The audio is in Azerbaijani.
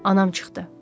Anam çıxdı.